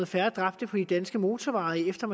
færre dræbte på de danske motorveje efter